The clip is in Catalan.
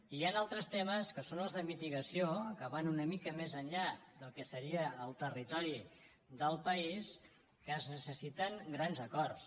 i hi han altres temes que són els de mitigació que van una mica més enllà del que seria el territori del país en què es necessiten grans acords